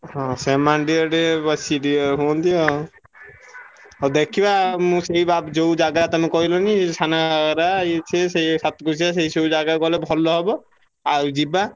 ହଁ ସେମନେ ଟିକେ ଟିକେ ବେଶୀ ଟିକେ ହୁଅନ୍ତି ଆଉ ହଉ ଦେଖିବା ମୁଁ ସେଇ ଯୋଉ ଜାଗା ତମେ କହିଲନି ସାନ ଘାଗରା ଇଏ ସିଏ ସେଇ ସାତକୋଶିଆ ସେଇ ସବୁ ଜାଗା ଗଲେ ଭଲ ହବ। ଆଉ ଯିବା।